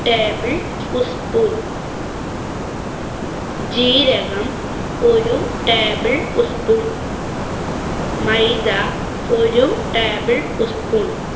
table ഉസ് spoon. ജീരകം ഒരു table ഉസ് spoon. മൈദ ഒരു table ഉസ് spoon.